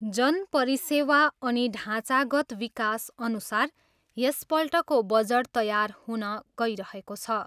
जन परिसेवा अनि ढाँचागत विकासअनुसार यसपल्टको बजट तयार हुन गइरहेको छ।